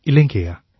இல்லைங்கய்யா